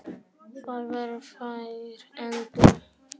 Það voru fáar endur.